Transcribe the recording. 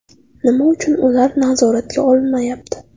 Nima uchun ular nazoratga olinmayapti?